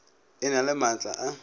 e na le maatla a